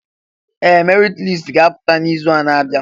Ee! Merit listi ga-apụta n'izu na-abịa.